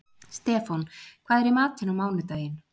Stefán, hvað er í matinn á mánudaginn?